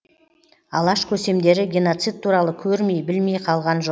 алаш көсемдері геноцид туралы көрмей білмей қалған жоқ